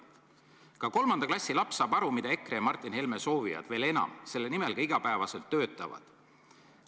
" Ka kolmanda klassi laps saab aru, mida EKRE ja Martin Helme soovivad ja veel enam, mille nimel ka iga päev töötavad.